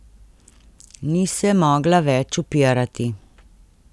Ni se mogla več upirati.